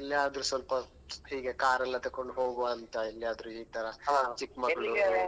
ಎಲ್ಲಿಯಾದ್ರೂ ಸ್ವಲ್ಪ ಹೀಗೆ ಕಾರ್ ಎಲ್ಲಾ ತಗೊಂಡು ಹೋಗುವ ಅಂತ ಎಲ್ಲಿಯಾದ್ರೂ ಈತರ ಚಿಕ್ಕಮಗಳೂರು .